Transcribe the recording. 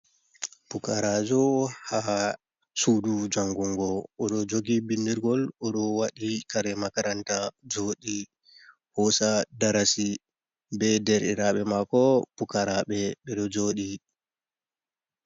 Pukaraajo ha suudu janngungo. O ɗo jogi binndirgol, o ɗo waɗi kare makaranta joɗi hoosa darasi be derɗiraaɓe mako pukaraaɓe, ɓe ɗo joɗi.